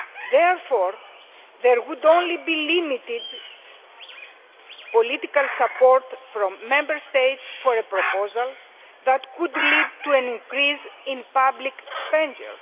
Therefore, there would only be limited political support from Member States for a proposal that could lead to an increase in public expenditure.